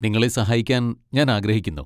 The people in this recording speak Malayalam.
നിങ്ങളെ സഹായിക്കാൻ ഞാൻ ആഗ്രഹിക്കുന്നു.